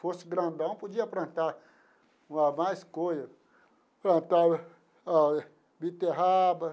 Fosse grandão, podia plantar mais coisa, plantar a beterraba.